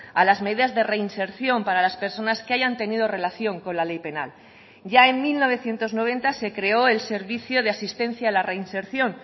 a las medidas de reinserción para las personas que hayan tenido relación con la ley penal ya en mil novecientos noventa se creó el servicio de asistencia a la reinserción